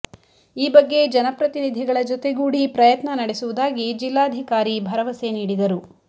ಈ ಬಗ್ಗೆ ಜನಪ್ರತಿನಿಧಿಗಳ ಜೊತೆಗೂಡಿ ಪ್ರಯತ್ನ ನಡೆಸುವುದಾಗಿ ಜಿಲ್ಲಾಧಿಕಾರಿ ಭರವಸೆ ನೀಡಿದರು